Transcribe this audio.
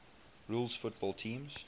rules football teams